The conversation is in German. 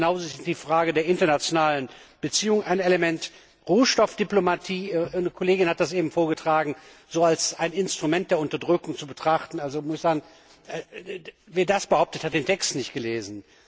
Genauso ist die Frage der internationalen Beziehungen ein Element. Rohstoffdiplomatie eine Kollegin hat das eben vorgetragen als ein Instrument der Unterdrückung zu betrachten Wer das behauptet, hat den Text nicht gelesen!